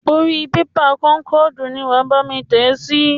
Orí bébà kónkọ̀dù ni wàá bámi tẹ sí.